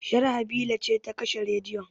Sharhabila ce ta kashe rediyon